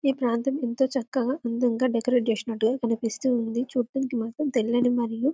ఈ ప్రాంతం ఎంతో అందంగా చక్కగా డెకరేషన్ చేసినట్టు కనిపిస్తుంది చూడ్డానికి మాత్రం తెల్లని మరియు --